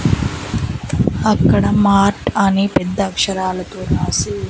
అక్కడ మార్ట్ అనే పెద్ద అక్షరాలతో రాసి--